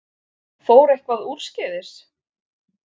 Fór eitthvað úrskeiðis?